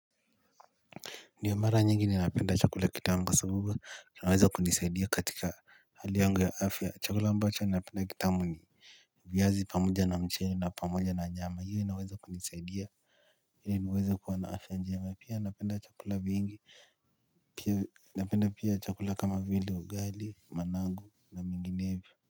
Ndio mara nyingi ninapenda chakula kitamu kwa sababu unaweza kujisaidia katika hali yangu ya afya chakula ambacho ninapenda kitamu ni viazi pamoja na mchele na pamoja na nyama hiyo inaweza kunisaidia ili kuweza kuwa na afya njema pia napenda chakula mingi pia napenda pia chakula kama vile ugali manangu na menginevyo.